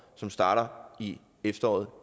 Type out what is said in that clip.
som starter i efteråret